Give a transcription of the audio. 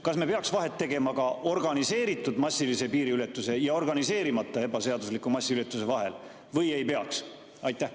Kas me peaks Eestis vahet tegema organiseeritud massilisel piiriületusel ja organiseerimata ebaseaduslikul massilisel piiriületusel või ei peaks?